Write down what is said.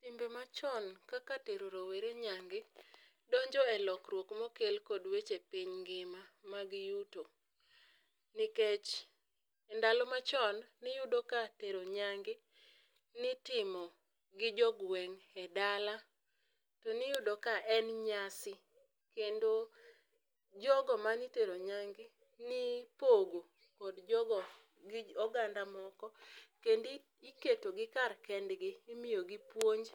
Timbe ma chon kaka tero rawere nyange donjo e lokruok ma okel kod weche piny ngima mag yuto. Nikech ndalo ma chon ni iyudo ka tero nyange ne itimo gi jo gweng e dala, to ni iyudo ka en nyasi kendo jo go ma ne itero nyange ne ipogo kod jo go gi oganda moko kendo iketo gi kar kend gi imiyo gi puonj.